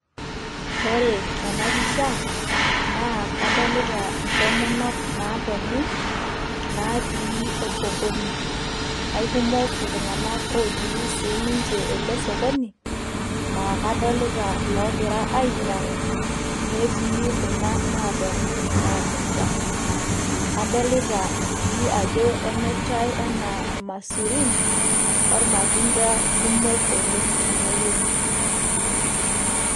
ore tenapisha naa kadolita ntomonok naatoni naatii osokoni aikumok iltung'anak otii siininche ele sokoni aa kadolita logira ainyiang'u netii kuna naatoni naamirrta adolita sii ajo emirrtay enaa ilmasurin ormatunda kumok oleng tenewueji.